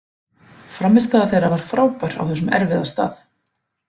Frammistaða þeirra var frábær á þessum erfiða stað.